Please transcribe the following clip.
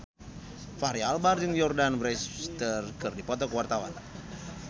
Fachri Albar jeung Jordana Brewster keur dipoto ku wartawan